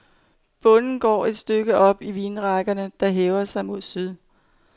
Bonden går et stykke op i vinrækkerne, der hæver sig mod syd.